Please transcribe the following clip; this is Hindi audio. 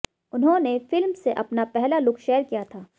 उन्होंने फिल्म से अपना पहला लुक शेयर किया था